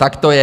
Tak to je!